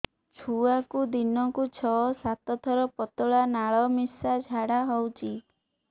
ଛୁଆକୁ ଦିନକୁ ଛଅ ସାତ ଥର ପତଳା ନାଳ ମିଶା ଝାଡ଼ା ହଉଚି